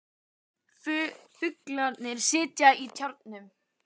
Fuglarnir sitja í trjánum.